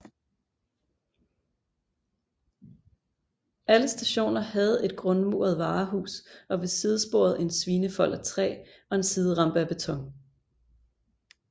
Alle stationer havde et grundmuret varehus og ved sidesporet en svinefold af træ og en siderampe af beton